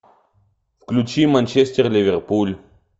включи манчестер ливерпуль